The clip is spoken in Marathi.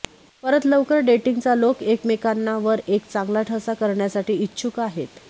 परत लवकर डेटिंगचा लोक एकमेकांना वर एक चांगला ठसा करण्यासाठी इच्छुक आहेत